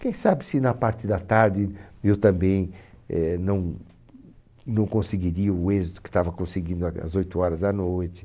Quem sabe se na parte da tarde eu também eh não não conseguiria o êxito que estava conseguindo ag às oito horas da noite.